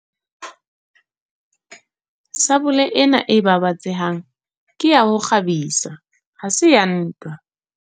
Sabole ena e babatsehang ke ya ho kgabisa ha se ya ntwa.